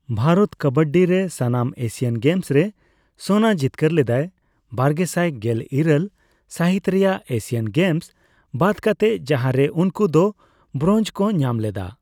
ᱵᱷᱟᱨᱚᱛ ᱠᱟᱵᱟᱰᱤ ᱨᱮ ᱥᱟᱱᱟᱢ Asian Games ᱨᱮ ᱥᱳᱱᱟ ᱡᱤᱛᱠᱟᱹᱨ ᱞᱮᱫᱟᱭ, ᱵᱟᱨᱜᱮᱥᱟᱭ ᱜᱮᱞ ᱤᱨᱟᱹᱞ ᱥᱟᱹᱦᱤᱛ ᱨᱮᱭᱟᱜ ᱮᱥᱤᱭᱟᱱ ᱜᱮᱢᱥ ᱵᱟᱫᱽ ᱠᱟᱛᱮ ᱡᱟᱦᱟᱸ ᱨᱮ ᱩᱱᱠᱩ ᱫᱚ ᱵᱨᱳᱱᱡᱽ ᱠᱚ ᱧᱟᱢ ᱞᱮᱫᱟ ᱾